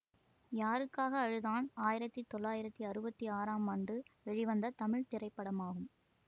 யாருக்காக அழுதான் ஆயிரத்தி தொள்ளாயிரத்தி அறுவத்தி ஆறாம் ஆண்டு வெளிவந்த தமிழ் திரைப்படமாகும்